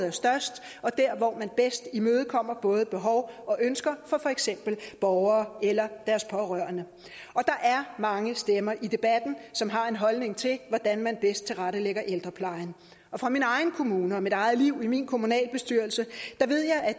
er størst og der hvor man bedst imødekommer både behov og ønsker fra for eksempel borgere eller deres pårørende der er mange stemmer i debatten som har en holdning til hvordan man bedst tilrettelægger ældreplejen fra min egen kommune og mit eget liv i min kommunalbestyrelse